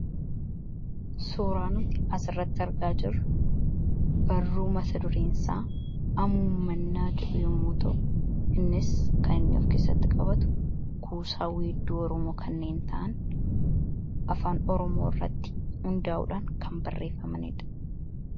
suuraanoti as irratti argaa jiru barruu masaduriinsaa amuumannaa jedhu yommotoo innis kaninni of keessatti qabatu kuusaa wiidduu orumoo kanneen ta'an afaan orumoo irratti hundaa'uudhaan kan barreeffamaniidha